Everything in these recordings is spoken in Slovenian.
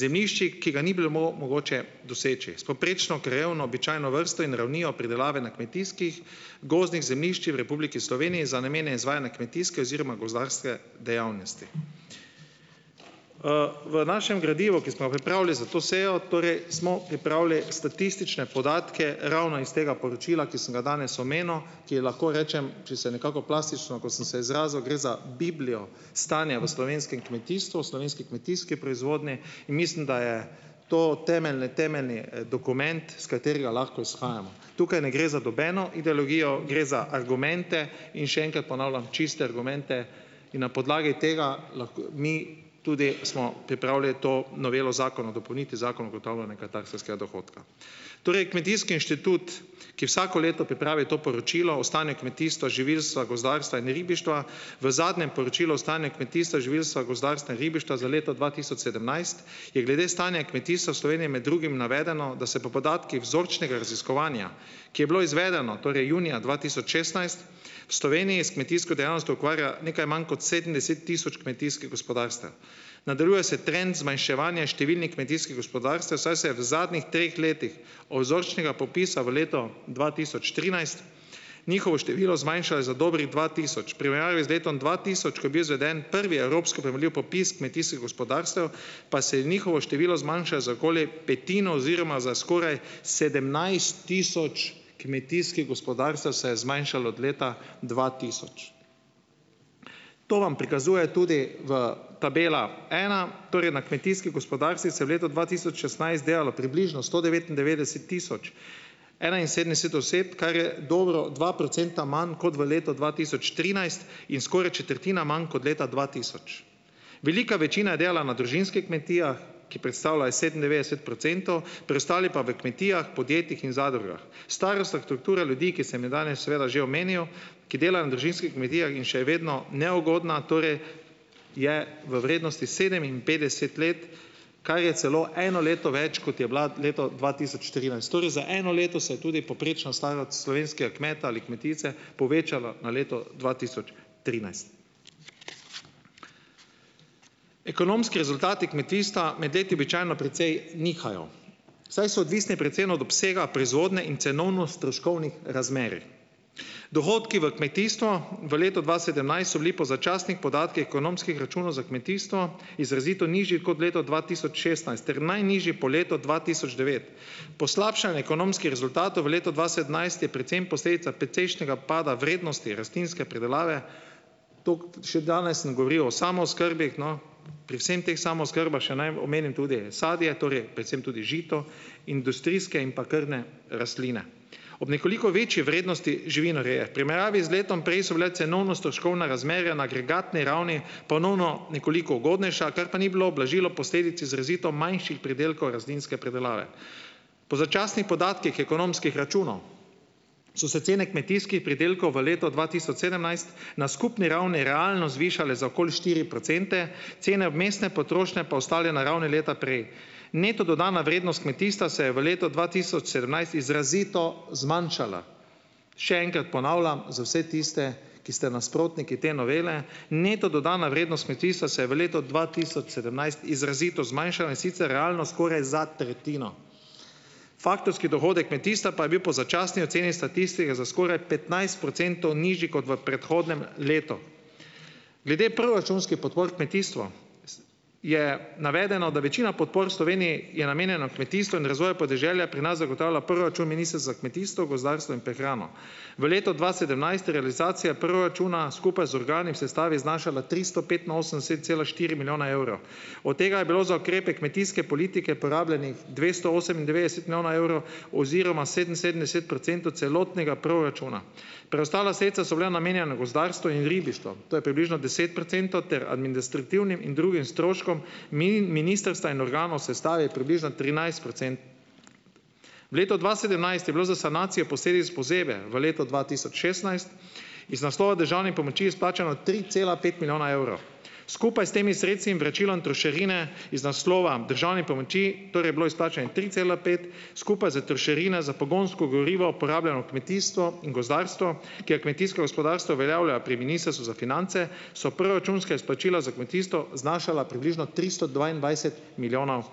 zemljiščih, ki ga ni bilo mogoče doseči. S povprečno krajevno običajno vrsto in ravnijo pridelave na kmetijskih, gozdnih zemljiščih v Republiki Sloveniji za namene izvajanja kmetijske oziroma gozdarske dejavnosti. V našem gradivu, ki smo pripravili za to sejo, torej smo pripravili statistične podatke ravno iz tega poročila, ki sem ga danes omenil, ki je, lahko rečem, če se nekako plastično, ko sem se izrazil, gre za biblijo stanja v slovenskem kmetijstvu, slovenski kmetijski proizvodnji. In mislim, da je to temeljni temeljni dokument, iz katerega lahko izhajamo. Tukaj ne gre za nobeno ideologijo, gre za argumente, in še enkrat ponavljam, čiste argumente. In na podlagi tega mi tudi smo pripravili to novelo zakona o dopolnitvi zakona o ugotavljanje katastrskega dohodka. Torej, Kmetijski inštitut, ki vsako leto pripravi to poročilo o stanju kmetijstva, živilstva, gozdarstva in ribištva, v zadnjem poročilu o stanju kmetijstva, živilstva, gozdarstva in ribištva za leto dva tisoč sedemnajst je glede stanja kmetijstva v Sloveniji med drugim navedeno, da se po podatkih vzročnega raziskovanja, ki je bilo izvedeno, torej junija dva tisoč šestnajst, v Sloveniji s kmetijsko dejavnostjo ukvarja nekaj manj kot sedemdeset tisoč kmetijskih gospodarstev. Nadaljuje se trend zmanjševanja številnih kmetijskih gospodarstev, saj se je v zadnjih treh letih od vzorčnega popisa v letu dva tisoč trinajst njihovo število zmanjšalo za dobrih dva tisoč. V primerjavi z letom dva tisoč, ko je bil izveden prvi evropski primerljiv popis kmetijskih gospodarstev, pa se je njihovo število zmanjšalo za okoli petino, oziroma, za skoraj sedemnajst tisoč kmetijskih gospodarstev se je zmanjšalo od leta dva tisoč. To vam prikazuje tudi v tabela ena, torej na kmetijskih gospodarstvih se je v letu dva tisoč šestnajst delalo približno sto devetindevetdeset tisoč enainsedemdeset oseb, kar je dobro dva procenta manj kot v letu dva tisoč trinajst in skoraj četrtina manj kot leta dva tisoč. Velika večina je delala na družinskih kmetijah, ki predstavljajo sedemindevetdeset procentov, preostali pa v kmetijah, podjetjih in zadrugah. Starosta struktura ljudi, ki se jim danes seveda že omenil, ki delajo na družinskih kmetijah, in še vedno neugodna torej je v vrednosti sedeminpetdeset let, kar je celo eno leto več, kot je bila leto dva tisoč trinajst, torej za eno leto se je tudi poprečno staro slovenskega kmeta ali kmetice povečalo na leto dva tisoč trinajst. Ekonomski rezultati kmetijstva med leti običajno precej nihajo, saj so odvisne predvsem od obsega proizvodnje in cenovno stroškovnih razmerij. Dohodki v kmetijstvu. V letu dva sedemnajst so bili po začasnih podatkih ekonomskih računov za kmetijstvo izrazito nižji kot leto dva tisoč šestnajst ter najnižji po letu dva tisoč devet. Poslabšanje ekonomskih rezultatov v letu dva sedemnajst je predvsem posledica precejšnjega pada vrednosti rastlinske pridelave, tako še danes ne govorijo o samooskrbi, no. Pri vsem teh samooskrbah še naj omenim tudi sadje, torej predvsem tudi žito, industrijske in pa krmne rastline. Ob nekoliko večji vrednosti živinoreje v primerjavi z letom prej so bile cenovno stroškovne razmere na agregatni ravni ponovno nekoliko ugodnejša, kar pa ni bilo, ublažilo posledici izrazito manjših pridelkov rastlinske pridelave. Po začasnih podatkih ekonomskih so se cene kmetijskih pridelkov v leto dva tisoč sedemnajst na skupni ravni realno zvišale za okoli štiri procente, cene obmestne potrošnje pa je ostane na ravni leta prej. Neto dodatna vrednost kmetijstva se je v letu dva tisoč sedemnajst izrazito zmanjšala. Še enkrat ponavljam za vse tiste, ki ste nasprotniki te novele, neto dodana vrednost kmetijstva se je v letu dva tisoč sedemnajst izrazito zmanjšala, in sicer realno skoraj za tretjino. Faktorski dohodek kmetijstva pa je bil po začasni oceni statistike za skoraj petnajst procentov nižji kot v predhodnem letu. Glede proračunskih podpor kmetijstvu je navedeno, da večina podpor v Sloveniji je namenjeno kmetijstvu in razvoju podeželja, pri nas zagotavlja proračun Ministrstvo za kmetijstvo, gozdarstvo in prehrano. V letu dva sedemnajst je realizacija proračuna skupaj z organi v sestavi znašala tristo petinosemdeset cela štiri milijona evrov. Od tega je bilo za ukrepe kmetijske politike porabljenih dvesto osemindevetdeset milijona evrov oziroma sedeminsedemdeset procentov celotnega proračuna. Preostala sredstva so bila namenjena gozdarstvu in ribištvu, to je približno deset procentov ter administrativnim in drugim stroškom. Ministrstva in organov v sestavi je približno trinajst V letu dva sedemnajst je bilo za sanacije v letu dva tisoč šestnajst iz naslova državnih pomoči izplačano tri cela pet milijona evrov. Skupaj s temi sredstvi in vračilom trošarine iz naslova državnih pomoči torej je bilo izplačanih tri cela pet skupaj s trošarine za pogonsko gorivo porabljeno kmetijstvo in gozdarstvo, ker kmetijsko gospodarstvo uveljavlja pri Ministrstvu za finance, so proračunska izplačila za kmetijstvo znašala približno tristo dvaindvajset milijonov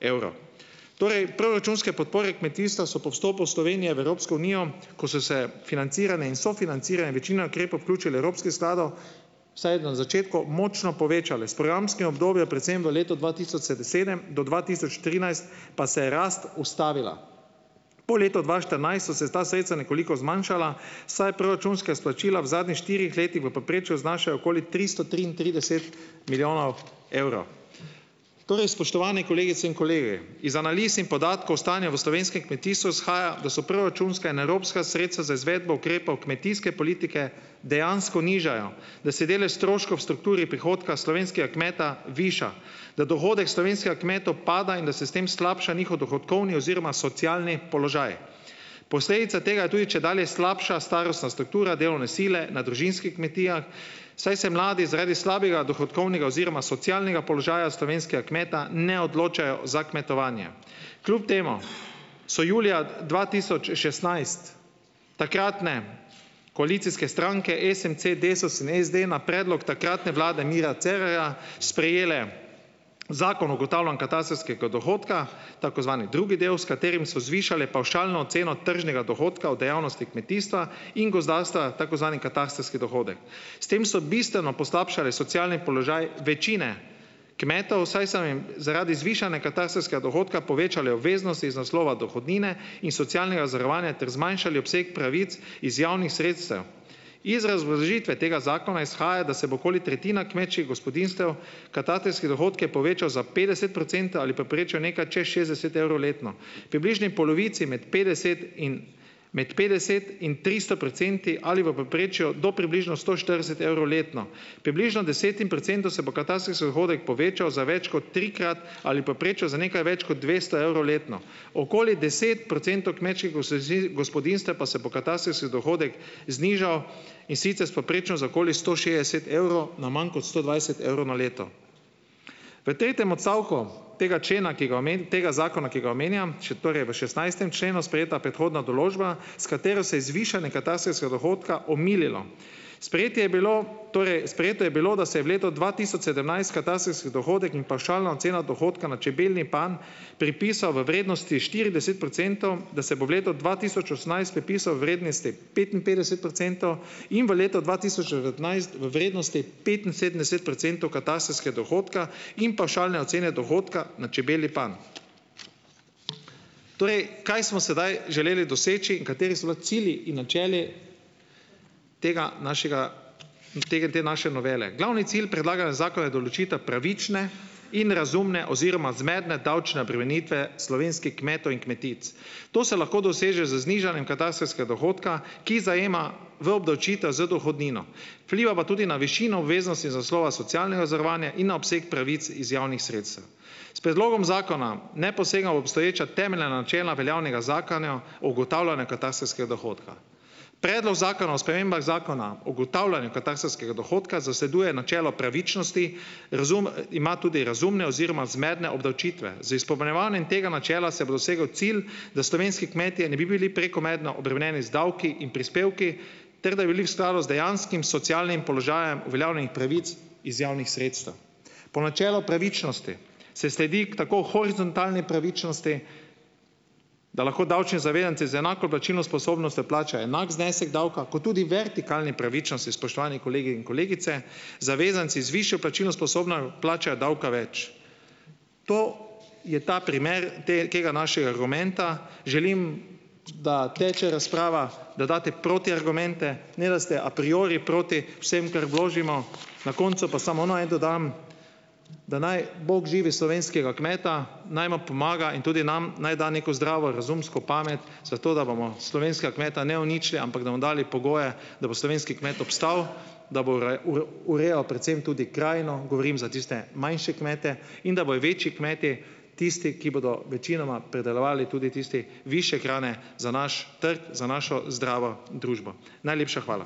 evrov. Torej proračunske podpore kmetijstva so po vstopu Slovenije v Evropsko unijo, ko so se financirane in sofinancirane in večina ukrepov vključili v evropskih skladov, vsaj na začetku močno povečale. S programskim obdobjem predvsem v letu dva tisoč sedem do dva tisoč trinajst pa se je rast ustavila. Po letu dva štirinajst so se ta sredstva nekoliko zmanjšala, saj je proračunska izplačila v zadnjih štirih letih v povprečju znašajo okoli tristo triintrideset milijonov Torej, spoštovane kolegice in kolegi, iz analiz in podatkov stanja v slovenskem kmetijstvu izhaja, da so proračunska in evropska sredstva za izvedbo ukrepov kmetijske politike dejansko nižajo, da se delež stroškov v strukturi prihodka slovenskega kmeta viša. Da dohodek slovenskega kmeta upada in da se s tem slabša njihov dohodkovni oziroma socialni položaj. Posledica tega je tudi čedalje slabša starostna struktura delovne sile na družinskih kmetijah, saj se mladi zaradi slabega dohodkovnega oziroma socialnega položaja slovenskega kmeta ne odločajo za kmetovanje. Kljub temu so julija dva tisoč šestnajst takratne koalicijske stranke SMC, DESUS in SD na predlog takratne vlade Mira Cerarja sprejele Zakon ugotavljanju katastrskega dohodka tako zvani drugi del, s katerim so zvišali pavšalno ceno tržnega dohodka v dejavnosti kmetijstva in gozdarstva, tako zvani katastrski dohodek. S tem so bistveno poslabšale socialni položaj večine kmetov, saj so jim zaradi zvišane katastrskega dohodka povečale obveznosti iz naslova dohodnine in socialnega zavarovanja ter zmanjšali obseg pravic iz javnih sredstev. Iz razložitve tega zakona izhaja, da se bo okoli tretjina kmečkih gospodinjstev katastrski dohodek povečal za petdeset procentov ali povprečju nekaj čez šestdeset evrov letno. Približni polovici med petdeset in med petdeset in tristo procenti ali v povprečju do približno sto štirideset evrov letno. Približno desetim procentov se bo katastrski dohodek povečal za več kot trikrat ali povprečju za nekaj več kot dvesto evrov letno. Okoli deset procentov kmečkih gospodinjstev pa se bo katastrski dohodek znižal, in sicer s povprečno za okoli sto šestdeset evrov na manj kot sto dvajset evrov na leto. V tretjem odstavku tega člena, ki ga tega zakona, ki ga omenjam, še torej v šestnajstem členu sprejeta predhodna določba, s katero se je zvišanje katastrskega dohodka omililo. Sprejetje je bilo torej, sprejeto je bilo, da se je v letu dva tisoč sedemnajst katastrski dohodek in pavšalna ocena dohodka na čebelji panj pripisa v vrednosti štirideset procentom, da se bo v letu dva tisoč osemnajst pripisal vrednosti petinpetdeset procentov in v letu dva tisoč devetnajst v vrednosti petinsedemdeset procentov katastrskega dohodka in pavšalne ocene dohodka na čebelji panj. Torej, kaj smo sedaj želeli doseči in kateri so bili cilji in načela tega našega te naše novele? Glavni cilj predlaganega zakona je določitev pravične in razumne oziroma zmerne davčne obremenite slovenskih kmetov in kmetic. To se lahko doseže z znižanjem katastrskega dohodka, ki zajema v obdavčitev z dohodnino. Vpliva pa tudi na višino obveznosti iz naslova socialnega zavarovanja in na obseg pravic iz javnih sredstev. S predlogom zakona ne posegamo v obstoječa temeljna načela veljavnega zakona ugotavljanja katastrskega dohodka. Predlog zakona o spremembah Zakona o ugotavljanju katastrskega dohodka zasleduje načelo pravičnosti, razum ima tudi razumne oziroma zmerne obdavčitve. Z izpopolnjevanjem tega načela se bo dosegel cilj, da slovenski kmetje ne bi bili prekomerno obremenjeni z davki in prispevki, dejanskim socialnim položajem uveljavljenih pravic iz javnih sredstev. Po načelu pravičnosti se sledi, ker tako horizontalni pravičnosti, da lahko davčni zavezanci z enako plačilno sposobnostjo plačajo enak znesek davka, kot tudi vertikalni pravičnosti, spoštovani kolegi in kolegice. Zavezanci z višjo plačilno plačajo davka več. To je ta primer tega našega argumenta. Želim da teče razprava, da date protiargumente, ne da ste a priori proti vsem, kar vložimo, na koncu pa samo naj dodam, da naj bog živi slovenskega kmeta, naj mu pomaga in tudi nam naj da neko zdravo razumsko pamet zato, da bomo slovenskega kmeta, ne uničili, ampak da mu dali pogoje, da bo slovenski kmet obstal, da bo urejal predvsem tudi krajino, govorim za tiste manjše kmete in da bojo večji kmeti tisti, ki bodo večinoma pridelovali tudi tisti višje hrane za naš trg, za našo zdravo družbo. Najlepša hvala.